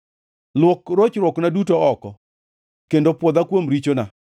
Luok rochruokna duto oko kendo pwodha kuom richona.